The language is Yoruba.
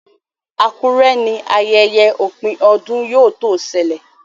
Akure ní ayẹyẹ opin ọdún yíò to sẹlẹ